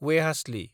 वेहास्लि